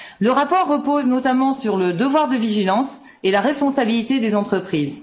Le rapport repose notamment sur le devoir de vigilance et la responsabilité des entreprises.